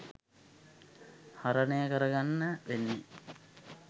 හරණය කරගන්න වෙන්නේ